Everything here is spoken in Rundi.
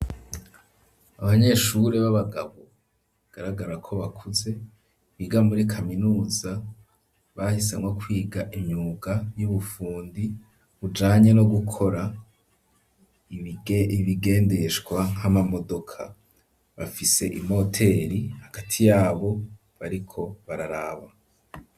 Abanyeshuri b'abagabo bagaragara ko bakuze biga muri kaminuza bahisemwo kwiga imyuga y'ubufundi ijanye no gukora ibigendeshwa nk'amamodoka bafise imoteri hagati y'abo bariko bararaba.